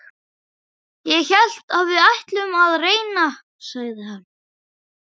Ég hélt við ætluðum að reyna, sagði hann.